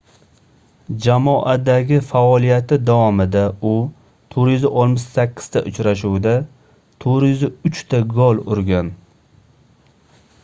jamoadagi faoliyati davomida u 468 ta uchrashuvda 403 ta gol urgan